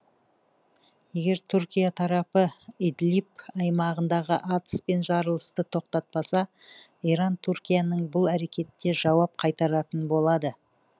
егер түркия тарапы идлиб аймағындағы атыс пен жарылысты тоқтатпаса иран түркияның бұл әрекетіне жауап қайтаратын болады